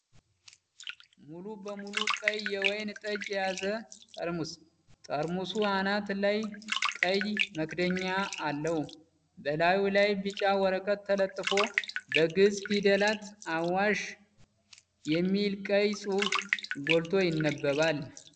ሙሉ በሙሉ ቀይ የወይን ጠጅ የያዘ ጠርሙስ። የጠርሙሱ አናት ላይ ቀይ መክደኛ አለው። በላዩ ላይ ቢጫ ወረቀት ተለጥፎ፣ በግዕዝ ፊደላት "አዋሽ" የሚል ቀይ ጽሑፍ ጎልቶ ይነበባል።